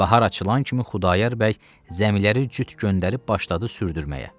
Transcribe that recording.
Bahar açılan kimi Xudayar bəy zəmiləri cüt göndərib başladı sürdürməyə.